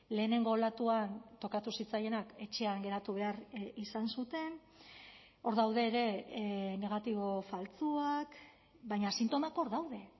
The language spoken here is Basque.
lehenengo olatuan tokatu zitzaienak etxean geratu behar izan zuten hor daude ere negatibo faltsuak baina sintomak hor daude